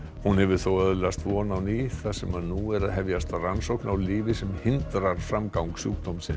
hún hefur þó öðlast von á ný þar sem nú er að hefjast rannsókn á lyfi sem hindrar framgang sjúkdómsins